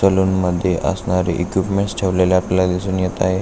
Salon मध्ये असणारे equipment ठेवलेले आपल्याला दिसून येत आहे.